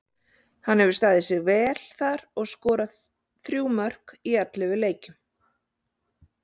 Hann hefur staðið sig vel þar og skorað þrjú mörk í ellefu leikjum.